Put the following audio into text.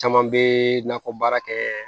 Caman bɛ nakɔ baara kɛ